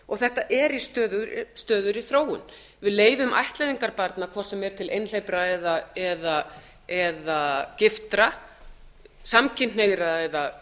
og þetta er í stöðugri þróun við leyfum ættleiðingar barna hvort sem er til einhleypra eða giftra samkynhneigðra eða